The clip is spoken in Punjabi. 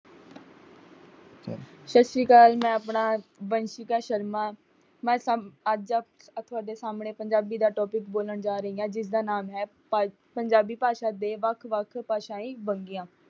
ਸਤਿ ਸ਼੍ਰੂੀ ਅਕਾਲ, ਮੈਂਂ ਆਪਣਾ ਵੰਸ਼ਿਕਾ ਸ਼ਰਮਾ । ਮੈਂ ਅੱਜ ਤੁਹਾਡੇ ਸਾਹਮਣੇ ਪੰਜਾਬੀ ਦਾ ਟੌਪਿਕ ਬੋਲਣ ਜਾ ਰਹੀ ਹਾਂ ਜਿਸਦਾ ਨਾਮ ਹੈ ਪੰਜਾਬੀ ਭਾਸ਼ਾਂ ਦੇ ਵੱਖ ਵੱਖ ਉਪ ਭਾਸ਼ਾ ਵਨੰਗੀਆਂ